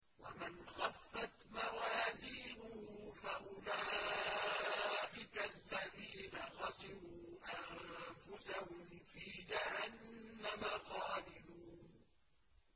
وَمَنْ خَفَّتْ مَوَازِينُهُ فَأُولَٰئِكَ الَّذِينَ خَسِرُوا أَنفُسَهُمْ فِي جَهَنَّمَ خَالِدُونَ